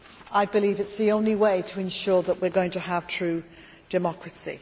I believe that is the only way to ensure that we are going to have true democracy.